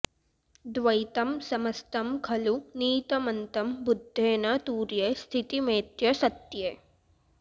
द्वैतं समस्तं खलु नीतमन्तं बुद्धेन तुर्ये स्थितिमेत्य सत्ये